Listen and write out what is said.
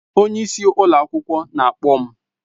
Onye isi ụlọ akwụkwọ na-akpọ m